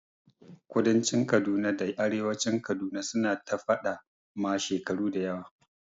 Kudancin Kaduna da arewacin Kaduna su na ta faɗa ma shekaru dayawa yanzu